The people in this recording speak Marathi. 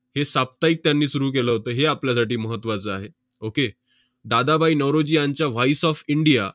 हे साप्ताहिक त्यांनी सुरु केलं होतं, हे आपल्यासाठी महत्त्वाचं आहे. okay दादाभाई नौरोजी यांच्या voice of इंडिया